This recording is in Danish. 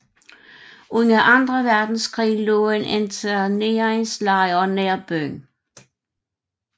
Under anden verdenskrig lå en interneringslejr nær byen